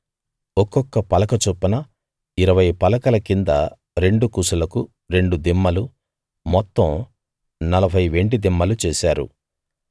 ఒక్కొక్క పలక చొప్పున ఇరవై పలకల కింద రెండు కుసులకు రెండు దిమ్మలు మొత్తం నలభై వెండి దిమ్మలు చేశారు